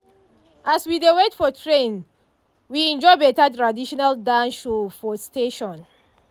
as we dey wait for train we enjoy better traditional dance show for station.